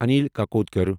Anil Kakodkar